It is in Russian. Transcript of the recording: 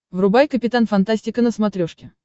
врубай капитан фантастика на смотрешке